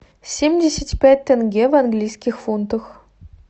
семьдесят пять тенге в английских фунтах